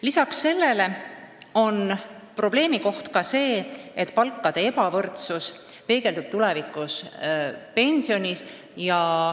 Lisaks sellele on probleem ka tõsiasi, et palkade ebavõrdsus peegeldub tulevikus saadavas pensionis.